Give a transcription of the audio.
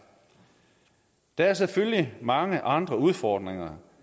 der er selvfølgelig mange andre udfordringer